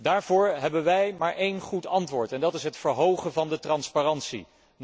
Daarvoor hebben wij maar één goed antwoord en dat is het verhogen van de transparantie.